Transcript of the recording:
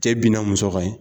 Cɛ binna muso kan